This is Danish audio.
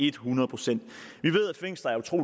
et hundrede procent